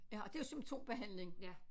Ja og det er jo symptombehandling